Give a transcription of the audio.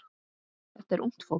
Þetta er ungt fólk.